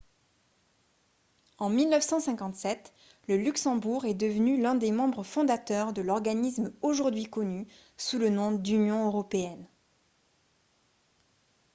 en 1957 le luxembourg est devenu l'un des membres fondateurs de l'organisme aujourd'hui connu sous le nom d'union européenne